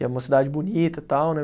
E é uma cidade bonita tal, né?